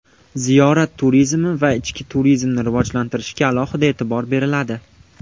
Ziyorat turizmi va ichki turizmni rivojlantirishga alohida e’tibor beriladi.